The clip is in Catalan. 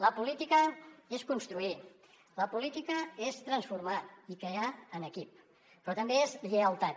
la política és construir la política és transformar i crear en equip però també és lleialtat